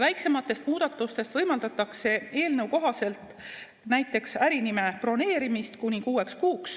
Väiksematest muudatustest võimaldatakse eelnõu kohaselt näiteks ärinime broneerimist kuni kuueks kuuks,